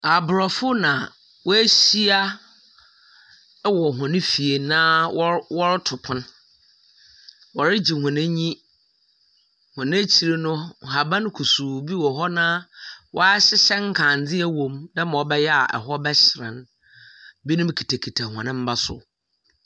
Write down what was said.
Aborɔfo na wɔahyia wɔ hɔn fie na wɔre wɔreto pon. Wɔregye hɔn enyi. Wɔn ekyir no, nhaban kusuu bi wɔ hɔ, na wɔahyehyɛ nkanea wom dɛma ɔbɛyɛ hɔ bɛhyerɛn. Binom tete hɔn mma so.